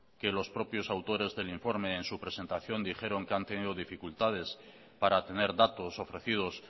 que los propios autores del informe en su presentación dijeron que han tenido dificultades para tener datos ofrecidos